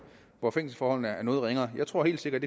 hvor fængselsforholdene er noget ringere jeg tror helt sikkert